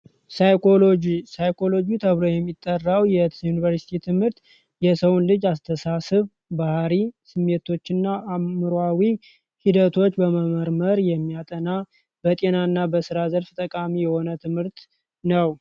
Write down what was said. ጂሳይኮሎጂ ተብረው የሚጠራው የዩኒቨርሲቲ ትምህርት የሰውን ልጅ አስተሳስብ ባህሪ ስሜቶች ና አምሯዊ ሂደቶች በመመርመር የሚያጠና በጤና እና በሥራ ዘፍ ጠቃሚ የሆነ ትምህርት ነው